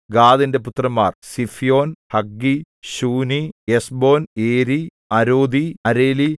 ഗാദിന്റെ പുത്രന്മാർ സിഫ്യോൻ ഹഗ്ഗീ ശൂനീ എസ്ബോൻ ഏരി അരോദീ അരേലി